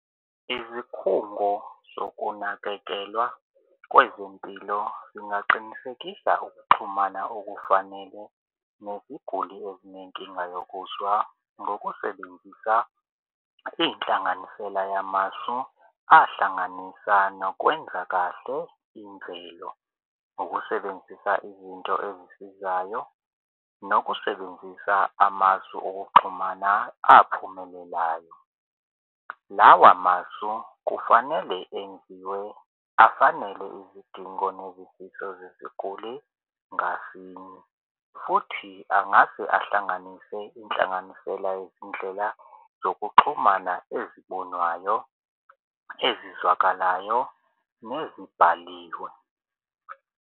Izikhungo zokunakekelwa kwezempilo zingaqinisekisa ukuxhumana okufanele neziguli ezinenkinga yokuzwa ngokusebenzisa inhlanganisela yamasu ahlanganisa nokwenza kahle imvelo, ukusebenzisa izinto ezisizayo nokusebenzisa amasu okuxhumana aphumelelayo. Lawa masu kufanele enziwe afanele izidingo nezifiso zesiguli ngasinye futhi angase ahlanganise inhlanganisela yezindlela zokuxhumana ezibonwayo ezizwakalayo nezibhaliwe.